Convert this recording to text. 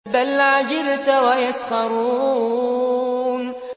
بَلْ عَجِبْتَ وَيَسْخَرُونَ